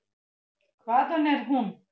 Hvaðan er hún?